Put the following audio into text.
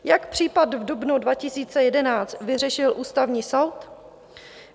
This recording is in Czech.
Jak případ v dubnu 2011 vyřešil Ústavní soud?